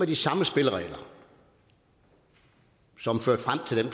de samme spilleregler som førte frem til den